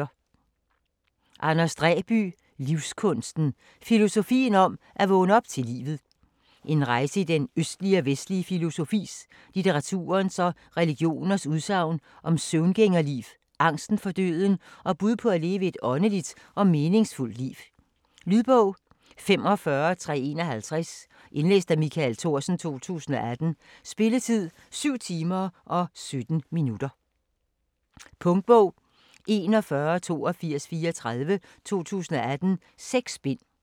Dræby, Anders: Livskunsten: filosofien om at vågne op til livet En rejse i den østlige og vestlige filosofis, litteraturens og religioners udsagn om søvngængerliv, angsten for døden, og bud på at leve et åndeligt og meningsfuldt liv. Lydbog 45351 Indlæst af Michael Thorsen, 2018. Spilletid: 7 timer, 17 minutter. Punktbog 418234 2018. 6 bind.